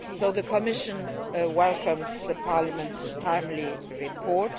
The Commission welcomes Parliament's timely report.